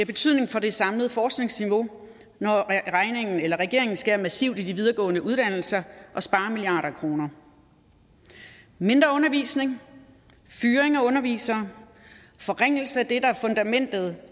betydning for det samlede forskningsniveau når regeringen skærer massivt i de videregående uddannelser og sparer milliarder af kroner mindre undervisning fyring af undervisere en forringelse af det der er fundamentet